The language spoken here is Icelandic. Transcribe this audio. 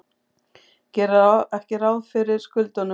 Gera ekki ráð fyrir skuldunum